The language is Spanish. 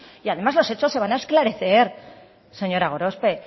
además los hechos se van a esclarecer señora gorospe